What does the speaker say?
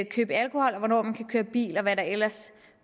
købe alkohol køre bil og hvad der ellers